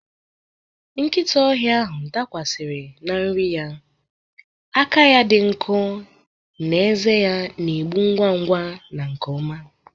Nkịta ọhịa ahụ dakwasiri na nri ya, aka ya dị nkọ na ezé ya na-egbu ngwa ngwa na nke ọma.